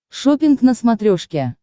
шоппинг на смотрешке